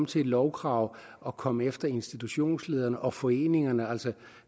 til et lovkrav og komme efter institutionsledere og foreninger altså